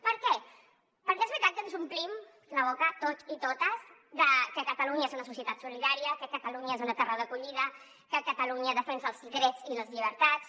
per què perquè és veritat que ens omplim la boca tots i totes que catalunya és una societat solidària que catalunya és una terra d’acollida que catalunya defensa els drets i les llibertats